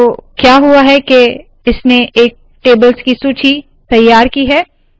तो क्या हुआ है के इसने एक टेबल्स की सूची तैयार की है